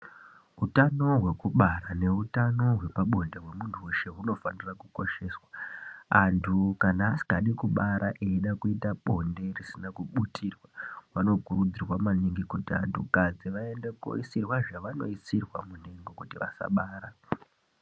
Utano hwekubara neutano hwepabonde hwemuntu veshe hunofanira kukosheswa. Antu kana asikadi kubara eida kuita bonde risina kubutirwa vanokurudzirwa maningi kuti antu kadzi vaende koisirwa zvavanoisirwa muntengo kuti vasabara.